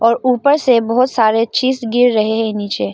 और ऊपर से बहोत सारे चीज गिर रहे हैं नीचे।